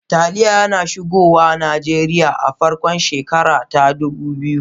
Taliya ya shigo Najeriya a farkon shekara ta dubu biyu.